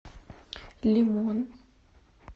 лимон